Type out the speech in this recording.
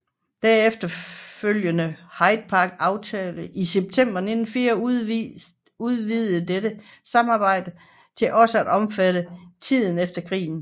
Den efterfølgende Hyde Park aftale i september 1944 udvidede dette samarbejde til også at omfatte tiden efter krigen